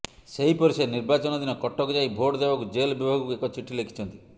ସେହିପରି ସେ ନିର୍ବାଚନ ଦିନ କଟକ ଯାଇ ଭୋଟ ଦେବାକୁ ଜେଲ ବିଭାଗକୁ ଏକ ଚିଠି ଲେଖିଛନ୍ତି